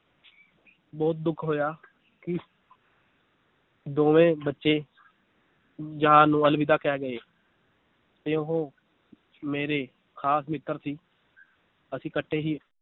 ਬਹੁਤ ਦੁੱਖ ਹੋਇਆ ਕਿ ਦੋਵੇਂ ਬੱਚੇ ਜਹਾਨ ਨੂੰ ਅਲਵਿਦਾ ਕਹਿ ਗਏ ਤੇ ਉਹ ਮੇਰੇ ਖਾਸ ਮਿੱਤਰ ਸੀ ਅਸੀ ਕੱਠੇ ਹੀ